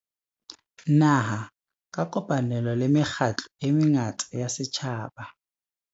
Naha ka kopanelo le mekgatlo e mengata ya setjhaba.